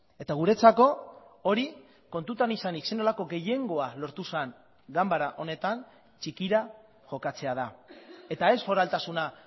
eta guretzako hori kontutan izanik zer nolako gehiengoa lortu zen ganbara honetan txikira jokatzea da eta ez foraltasuna